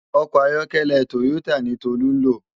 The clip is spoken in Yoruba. Òkò àyòkèlè tóyótá ni Tolu n ló